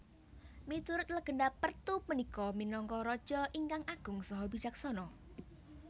Miturut legenda Pertu punika minangka raja ingkang agung saha bijaksana